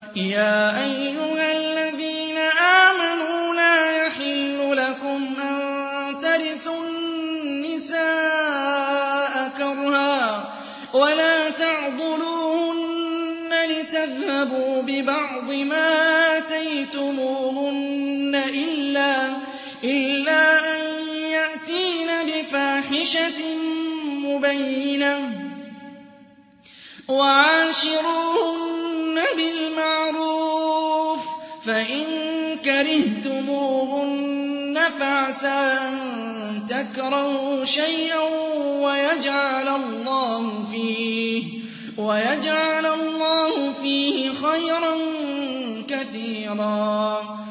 يَا أَيُّهَا الَّذِينَ آمَنُوا لَا يَحِلُّ لَكُمْ أَن تَرِثُوا النِّسَاءَ كَرْهًا ۖ وَلَا تَعْضُلُوهُنَّ لِتَذْهَبُوا بِبَعْضِ مَا آتَيْتُمُوهُنَّ إِلَّا أَن يَأْتِينَ بِفَاحِشَةٍ مُّبَيِّنَةٍ ۚ وَعَاشِرُوهُنَّ بِالْمَعْرُوفِ ۚ فَإِن كَرِهْتُمُوهُنَّ فَعَسَىٰ أَن تَكْرَهُوا شَيْئًا وَيَجْعَلَ اللَّهُ فِيهِ خَيْرًا كَثِيرًا